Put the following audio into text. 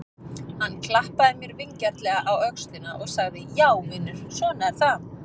Hann klappaði mér vingjarnlega á öxlina og sagði: Já vinur, svona er það.